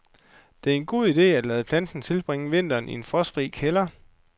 Det er en god idé, at lade planten tilbringe vinteren i en frostfri kælder.